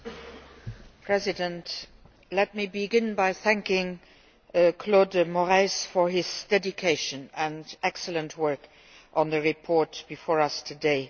Mr President, let me begin by thanking Claude Moraes for his dedication and excellent work on the report before us today.